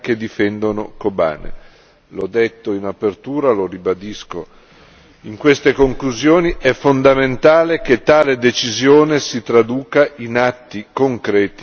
L'ho detto in apertura, lo ribadisco in queste conclusioni, è fondamentale che tale decisione si traduca in atti concreti il più presto possibile.